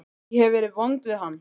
Ég hef verið vond við hann.